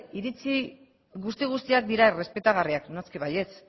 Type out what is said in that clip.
iritzi guzti guztiak dira errespetagarriak noski baietz